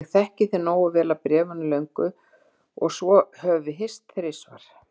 Ég þekki þig nógu vel af bréfunum löngu og svo höfum við hist þrisvar.